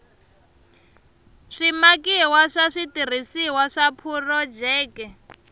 swimakiwa swa switirhisiwa swa phurojeke